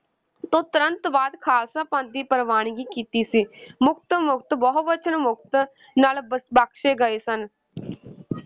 ਤੋਂ ਤੁਰੰਤ ਬਾਅਦ ਖ਼ਾਲਸਾ ਪੰਥ ਦੀ ਪ੍ਰਵਾਨਗੀ ਕੀਤੀ ਸੀ ਮੁਕਤ ਮੁਕਤ, ਬਹੁਵਚਨ ਮੁਕਤ ਨਾਲ ਬ~ ਬਖਸੇ ਗਏ ਸਨ